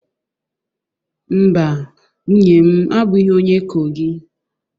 Mba, nwunye m abụghị onye Kogi